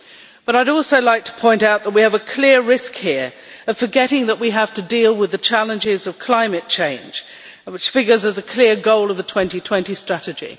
But I would also like to point out that we have a clear risk here of forgetting that we have to deal with the challenges of climate change, which figures as a clear goal of the 2020 strategy.